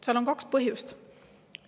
Sellel on kaks põhjust.